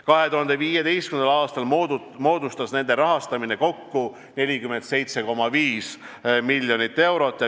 2015. aastal moodustas nende rahastamine kokku 47,5 miljonit eurot.